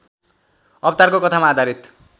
अवतारको कथामा आधारित